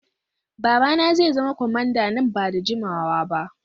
Babana zai zama kwamanda nan ba da jimawa ba.